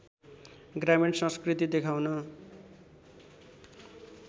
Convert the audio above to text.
ग्रामीण संस्कृति देखाउन